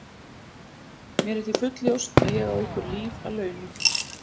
Mér er því fullljóst að ég á ykkur líf að launa.